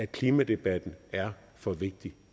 klimadebatten er for vigtig